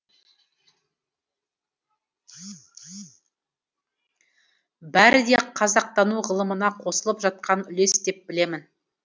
бәрі де қазақтану ғылымына қосылып жатқан үлес деп білемін